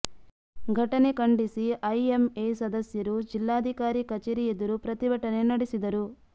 ಘಟನೆ ಖಂಡಿಸಿ ಐಎಂಎ ಸದಸ್ಯರು ಜಿಲ್ಲಾಧಿಕಾರಿ ಕಚೇರಿ ಎದುರು ಪ್ರತಿಭಟನೆ ನಡೆಸಿದರು